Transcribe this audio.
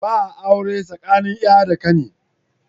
Ba a aure tsakanin ya da kani.